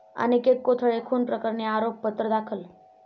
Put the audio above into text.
अनिकेत कोथळे खून प्रकरणी आरोपपत्र दाखल